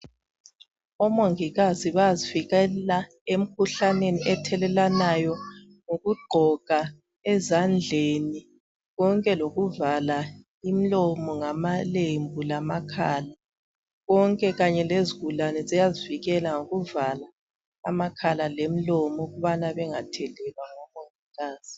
Omongikazi bayazivikela emkhuhlaneni ethelelwanayo ngokugqoka ezandleni konke lokuvala imlomo ngamalembu lamakhala, konke kanye lezigulani ziyazivikela ngokuvala amakhala lemilomo ukubana bengathelelwa ngomongikazi.